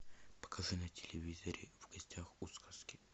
покажи на телевизоре в гостях у сказки